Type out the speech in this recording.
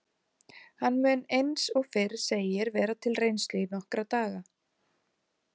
Hann mun eins og fyrr segir vera til reynslu í nokkra daga.